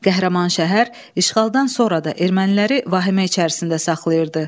Qəhrəman şəhər işğaldan sonra da erməniləri vahimə içərisində saxlayırdı.